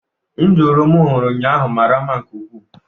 Nduru m hụrụ ụnyahụ mara mma nke ukwuu